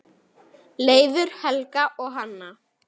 Leifur, Helga og Hanna.